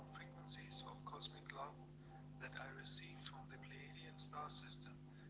колхозный гламур